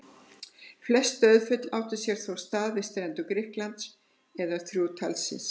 Flest dauðsföllin áttu sér þó stað við strendur Grikklands, eða þrjú talsins.